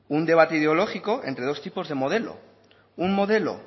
un debate ideológico entre dos tipos de modelo un modelo